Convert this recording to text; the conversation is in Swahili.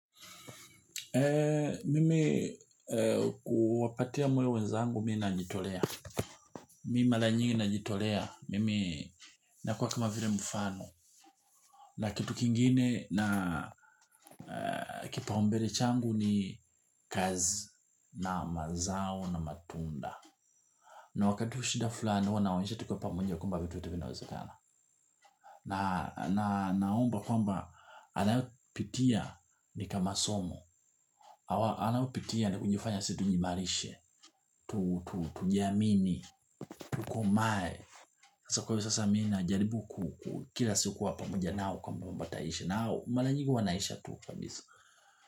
Mimi kuwapatia moyo wenzangu mi najitolea. Mi mara nyingi najitolea. Mimi nakuwa kama vile mfano. Na kitu kingine na kipaumbele changu ni kazi na mazao na matunda. Na wakati wa shida fulani huwa nawaonyesha tukiwa pamoja kwamba vitu vitu vinawezekana. Na naomba kwamba anayopitia ni kama somo. Awa anaopitia ni kujifanya si tujivalishe. Tujiamini. Tukomae sasa kwa hio sasa mi najaribu. Kila siku huwa pamoja nao kwa kwamba ntaishi. Nao mara nyingi huwa naisha tu kabisa.